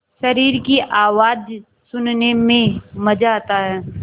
शरीर की आवाज़ सुनने में मज़ा आता है